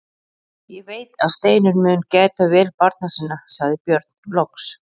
Ég veit að Steinunn mun gæta vel barna minna, sagði Björn loks.